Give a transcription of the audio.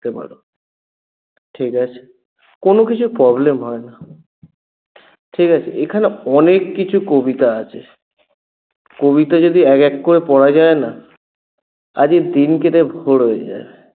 পারো ঠিকাছে কোনো কিছু problem হয় না ঠিকাছে এখানে অনেককিছু কবিতা আছে কবিতা যদি এক এক করে পড়া যায় না আজ এই দিন কেটে ভোর হয়ে যায়